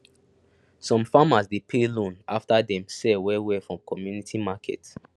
some farmers dey pay loan after dem sell well well for community market